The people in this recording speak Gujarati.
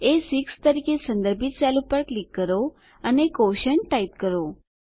એ6 તરીકે સંદર્ભિત સેલ પર ક્લિક કરો અને ક્વોશન્ટ ટાઈપ કરો